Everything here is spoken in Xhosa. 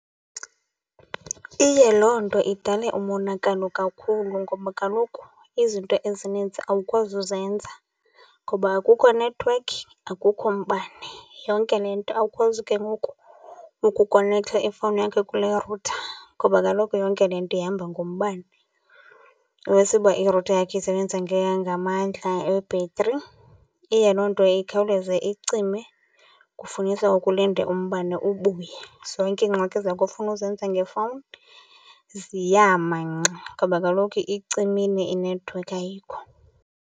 Iye loo nto idale umonakalo kakhulu ngoba kaloku izinto ezinintsi awukwazi uzenza ngoba akukho nethewekhi, akukho mbane. Yonke le nto awukwazi ke ngoku ukukonektha ifowuni yakho kule rutha ngoba kaloku yonke le nto ihamba ngombane. Iwesi uba irutha yakho isebenza ngamandla ebhetri. Iye loo nto ikhawuleze icime kufunisa ukhe ulinde umbane ubuye. Zonke iingxaki zakho ofuna ukuzenza ngefowuni ziyama ngxi ngoba kaloku icimile inethiwekhi ayikho